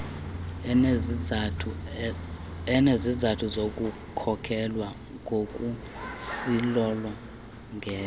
inesizathu sokukholelwa ngokuzilolongela